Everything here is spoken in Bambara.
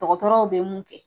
Dɔgɔtɔrɔw bɛ mun kɛ.